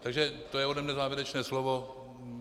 Takže to je ode mne závěrečné slovo.